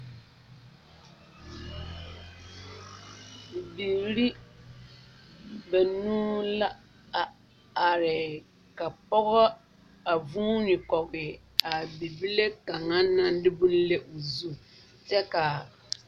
Bibiiri banuu la a are ka pɔge a vuuni kɔge a bibile kaŋa naŋ de bone le o zu kyɛ ka.